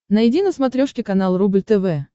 найди на смотрешке канал рубль тв